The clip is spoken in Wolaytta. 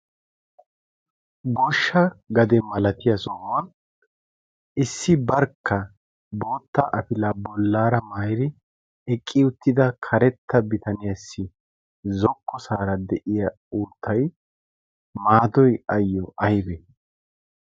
Goshsha gade malatiya sohuwan issi barkka bootta afila bollaara mairi eqqi uttida karetta bitaniyaassi zokko saara de'iya uuttay maadoy ayyo aybe?